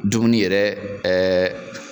Dumuni yɛrɛ ɛɛ